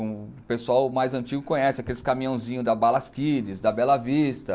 O pessoal mais antigo conhece, aqueles caminhãozinhos da Balas Kids, da Bela Vista.